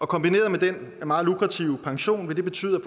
kombineret med den meget lukrative pension vil det betyde